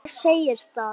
Hver segir það?